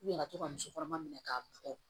ka to ka musokɔnɔma minɛ ka bɔ